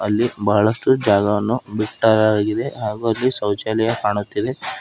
ಇಲ್ಲಿ ಬಹಳಷ್ಟು ಜಾಗವನ್ನು ವಿಸ್ತಾರವಾಗಿದೆ ಹಾಗೂ ಅಲ್ಲಿ ಶೌಚಾಲಯ ಕಾಣುತ್ತಿದೆ.